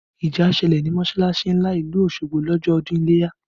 Ìjà ṣẹlẹ̀ ní mọsalasi ńlá ìlú Osogbo lọ́jọ́ ọdún ileya